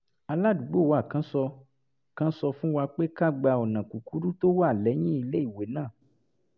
aládùúgbò wa kan sọ kan sọ fún wa pé ká gba ọ̀nà kúkúrú tó wà lẹ́yìn iléèwé náà